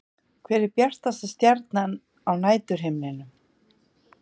Hver er bjartasta stjarnan á næturhimninum?